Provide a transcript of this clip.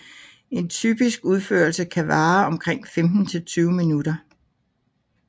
En typisk udførelse kan vare omkring femten til tyve minutter